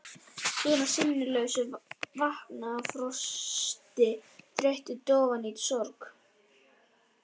Svona sinnulaus, vankaður af frosti, þreytu, dofinn af sorg.